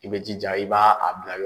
I bɛ jija i ba a bila